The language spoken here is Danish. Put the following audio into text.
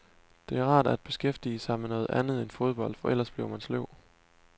Det er rart at beskæftige sig med noget andet end fodbold, for ellers bliver man sløv.